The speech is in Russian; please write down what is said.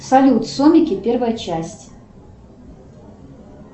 салют сомики первая часть